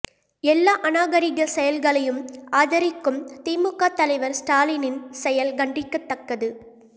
எல்லா அநாகரீக செயல்களையும் ஆதரிக்கும் திமுக தலைவர் ஸ்டாலினின் செயல் கண்டிக்கத்தக்கது